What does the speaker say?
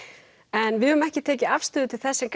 en við höfum ekki tekið afstöðu til þess sem